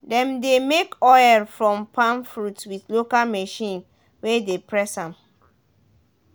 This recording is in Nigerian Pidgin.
dem de make oil from palm fruit with local machine wey de press am